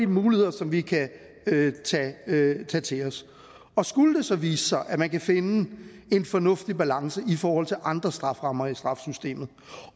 muligheder som vi kan tage til os skulle det så vise sig at man kan finde en fornuftig balance i forhold til andre strafferammer i straffesystemet